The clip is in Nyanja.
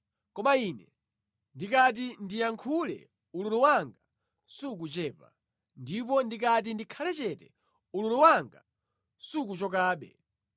“Koma ine ndikati ndiyankhule ululu wanga sukuchepa; ndipo ndikati ndikhale chete, ululu wanga sukuchokabe.